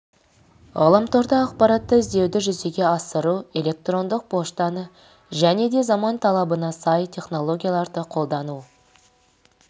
ғаламторда ақпаратты іздеуді жүзеге асыру электрондық поштаны және де заман талабына сай технологияларды қолдану